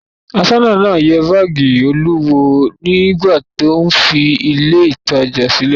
Aṣọ́nà náà yẹ báágì Olú wò nígbà tí ó ń fi ilé-ìtajà sílẹ̀.